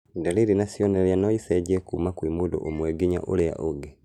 Ndariri na cionereria noicenjie kuma kwĩ mũndũ ũmwe nginya ũrĩa ũngĩ